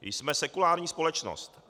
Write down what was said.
Jsme sekulární společnost.